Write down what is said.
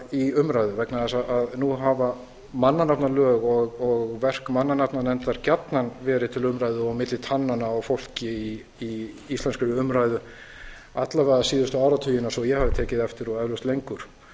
í umræðu vegna þess að nú hafa mannanafnalög og verk mannanafnanefndar gjarnan verið til umræðu og milli tannanna á fólki í íslenskri umræðu alla vega síðustu áratugina svo ég hafi tekið eftir og eflaust lengur